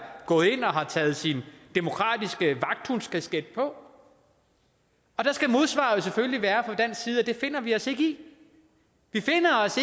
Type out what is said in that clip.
gået ind og har taget sin demokratiske vagthundskasket på og der skal modsvaret selvfølgelig være at det finder vi os ikke i vi finder os